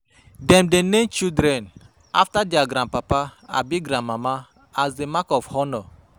Dem dey name children after dier grandpapa abi grandmama as di mark of honour.